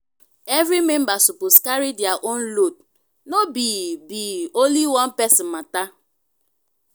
every member suppose carry their own load no be be only one person matter.